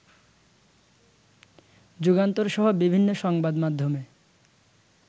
যুগান্তর সহ বিভিন্ন সংবাদমাধ্যমে